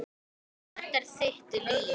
Þetta er þitt líf